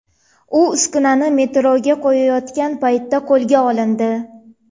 U uskunani metroga qo‘yayotgan paytda qo‘lga olindi.